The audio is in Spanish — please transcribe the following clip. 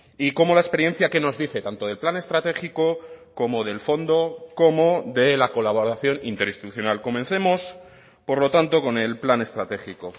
y cómo la experiencia que nos dice tanto del plan estratégico como del fondo como de la colaboración interinstitucional comencemos por lo tanto con el plan estratégico